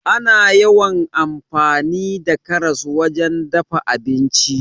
Ana yawan amfani da karas wajen dafa abinci.